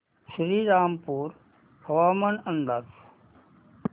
श्रीरामपूर हवामान अंदाज